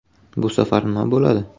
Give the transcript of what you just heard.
Bu safar nima bo‘ladi?.